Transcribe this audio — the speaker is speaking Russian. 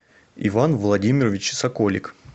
иван владимирович соколик